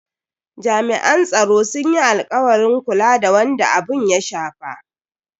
Jami'an tsaro sun yi alkawarin kula da wanda abun ya shafa.